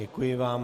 Děkuji vám.